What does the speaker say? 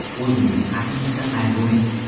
O‘zingiz haqingizda qayg‘uring.